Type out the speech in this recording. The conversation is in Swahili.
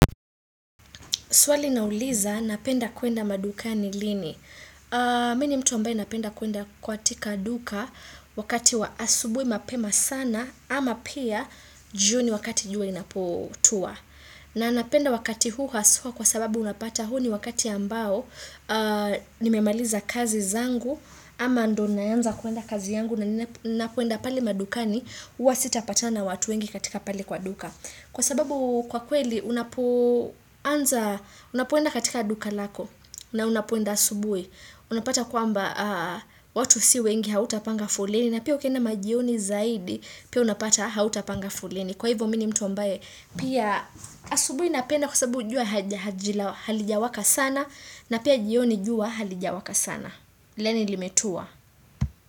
Swali nauliza napenda kuenda madukani lini. Mi ni mtu ambaye napenda kuenda kwatika duka wakati wa asubui mapema sana ama pia juni wakati jua inapotua. Na napenda wakati huu haswa kwa sababu unapata huu ni wakati ambao nimemaliza kazi zangu ama ndo naanza kuenda kazi yangu napoenda pale madukani huwa sitapatana na watu wengi katika pale kwa duka. Kwa sababu kwa kweli unapoenda katika duka lako na unapoenda asubui Unapata kwamba watu si wengi hautapanga foleni na pia ukienda majioni zaidi Pia unapata hautapanga foleni Kwa hivyo mi ni mtu ambaye pia asubui napenda kwa sababu jua halijawaka sana na pia jioni jua halijawaka sana Lani limetua.